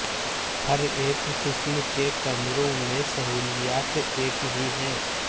ہر ایک قسم کے کمروں میں سہولیات ایک ہی ہیں